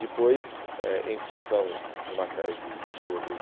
Depois, eh em função de uma série de de outros